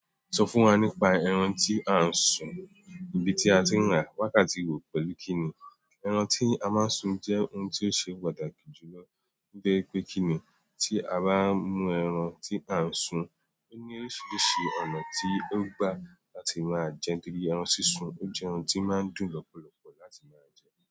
Sọ fún wa nípa ẹran tí a ń sun, ibi tí a ti ń rà wákàtí wo, pẹ̀lú kí ni? Ẹran tí a máa ń sun jẹ́ oun tí ó ṣe pàtàkì jùlọ. Gẹ́gẹ́ pé kí ni, tí a bá mú ẹran tí a ń sun, ó ní oríṣiríṣi ọ̀nà tí ó gbà láti máa jẹ nítorí ẹran sísun jẹ́ oun tí ó máa ń dùn lọ́pọ̀lọpọ̀ láti máa jẹ.